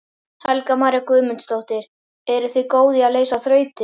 Helga María Guðmundsdóttir: Eruð þið góð í að leysa þrautir?